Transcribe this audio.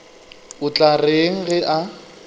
o tla reng ge a